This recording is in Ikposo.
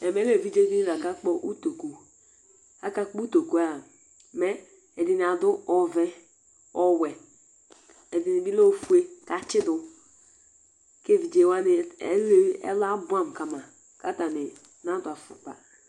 Ɛmɛlɛ evidze di ni la kakpɔ ʋtoku mɛ akakpɔ ʋtoku yɛ 'a mɛ ɛdiní adu ɔvɛ, ɔwɛ Ɛdiní bi lɛ ɔfʋe kʋ atsidu kʋ evidze wani ɛlu abʋamu kama kʋ atani nadu afʋkpa